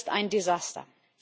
Das ist ein Desaster.